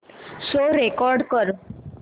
show record कर